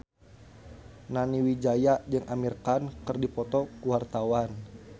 Nani Wijaya jeung Amir Khan keur dipoto ku wartawan